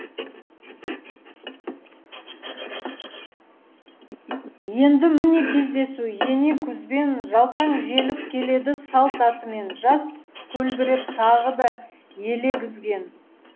енді міне кездесу ене күзбен жалтаң желіп келеді салт атымен жаз көлбіреп тағы да елегізген